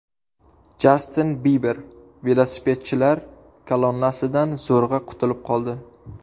Jastin Biber velosipedchilar kolonnasidan zo‘rg‘a qutulib qoldi.